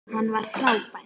Hann var frábær.